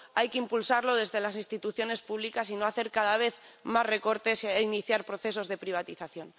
Hay que impulsarlo desde las instituciones públicas y no hacer cada vez más recortes e iniciar procesos de privatización.